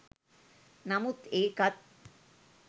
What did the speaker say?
නමුත් ඒකත්